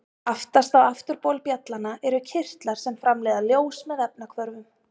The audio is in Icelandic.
Aftast á afturbol bjallanna eru kirtlar sem framleiða ljós með efnahvörfum.